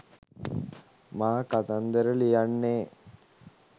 මා කතන්දර ලියන්නේ